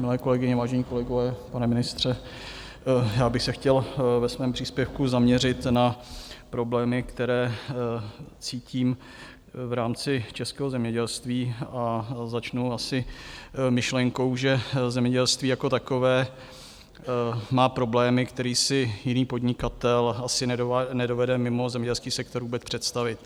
Milé kolegyně, vážení kolegové, pane ministře, já bych se chtěl ve svém příspěvku zaměřit na problémy, které cítím v rámci českého zemědělství, a začnu asi myšlenkou, že zemědělství jako takové má problémy, které si jiný podnikatel asi nedovede mimo zemědělský sektor vůbec představit.